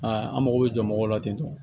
an mago bɛ jɔ mɔgɔw la ten